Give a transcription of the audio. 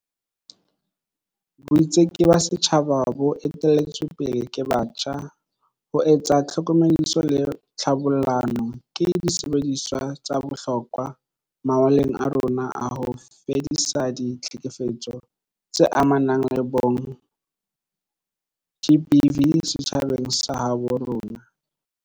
Boitseki ba setjhaba bo ete-lletsweng pele ke batjha, ho etsa tlhokomediso le tlhabollano, ke disebediswa tsa bohlokwa mawaleng a rona a ho fedisa di-tlhekefetso tse amanang le bong GBV setjhabeng sa habo rona.